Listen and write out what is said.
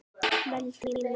vældi Ína.